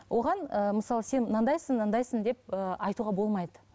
оған ыыы мысалы сен мынандайсың мынандайсың деп ыыы айтуға болмайды